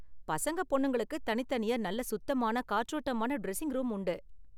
பசங்க, பொண்ணுங்களுக்கு தனித்தனியா நல்ல சுத்தமான காற்றோட்டமான ட்ரெஸிங் ரூம் உண்டு.